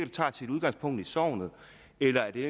tager sit udgangspunkt i sognet eller er det